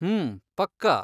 ಹ್ಮೂ ಪಕ್ಕಾ.